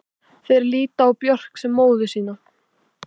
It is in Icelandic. Þeir líta á Björk sem móður sína.